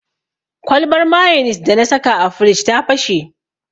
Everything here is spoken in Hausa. Kwalbar mayonis dana saka a firij ta fashe.